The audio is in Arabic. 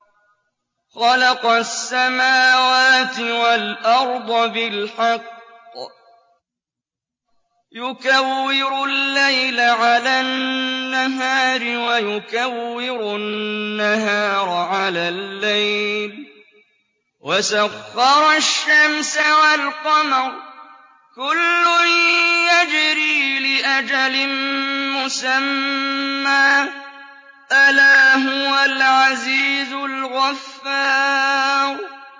خَلَقَ السَّمَاوَاتِ وَالْأَرْضَ بِالْحَقِّ ۖ يُكَوِّرُ اللَّيْلَ عَلَى النَّهَارِ وَيُكَوِّرُ النَّهَارَ عَلَى اللَّيْلِ ۖ وَسَخَّرَ الشَّمْسَ وَالْقَمَرَ ۖ كُلٌّ يَجْرِي لِأَجَلٍ مُّسَمًّى ۗ أَلَا هُوَ الْعَزِيزُ الْغَفَّارُ